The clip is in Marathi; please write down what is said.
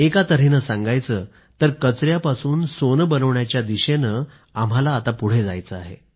एका तऱ्हेनं सांगायचं तर कचऱ्यापासून सोनं बनवण्याच्या दिशेनं आम्हाला पुढे जायचं आहे